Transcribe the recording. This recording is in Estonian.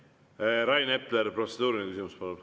Rain Epler, protseduuriline küsimus!